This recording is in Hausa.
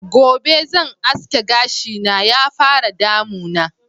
Gobe zan aske gashi na ya fara damuna